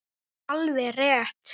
Það er alveg rétt.